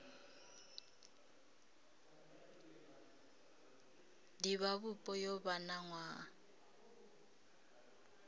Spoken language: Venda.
divhavhupo yo vha na nwaha